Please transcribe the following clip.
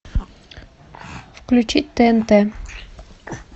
включить тнт